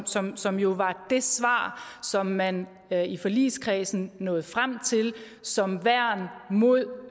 som som jo var det svar som man i forligskredsen nåede frem til som værn mod